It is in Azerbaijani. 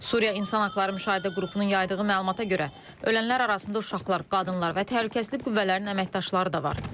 Suriya İnsan Haqları Müşahidə Qrupunun yaydığı məlumata görə, ölənlər arasında uşaqlar, qadınlar və təhlükəsizlik qüvvələrinin əməkdaşları da var.